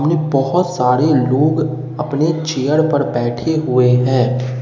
बहोत सारे लोग अपने चेयर पर बैठे हुए हैं।